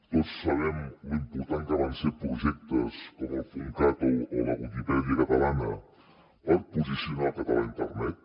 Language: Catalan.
tots sabem lo important que van ser projectes com el puntcat o la viquipèdia catalana per posicionar el català a internet